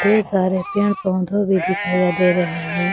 ढेर सारे पेड़ पौधों भी दिखाईया दे रहे हैं।